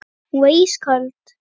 Hún varð ísköld.